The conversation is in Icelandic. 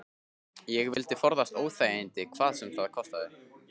Ég vildi forðast óþægindi hvað sem það kostaði.